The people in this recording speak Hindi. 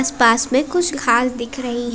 आस पास में कुछ घास दिख रही है।